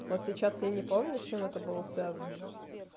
вот сейчас я не помню с чем это было связано